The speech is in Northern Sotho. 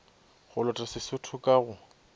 go lota sesotho ka go